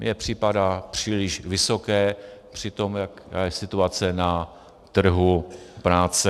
Mně připadá příliš vysoké při tom, jaká je situace na trhu práce.